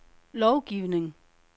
lovgivning